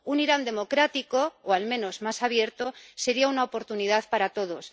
Un Irán democrático, o al menos más abierto, sería una oportunidad para todos.